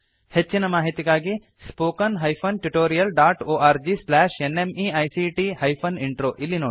ಹೆಚ್ಚಿನ ಮಾಹಿತಿಗಾಗಿ spoken hyphen tutorial dot org slash NMEICT hyphen intro ಇಲ್ಲಿ ನೋಡಿ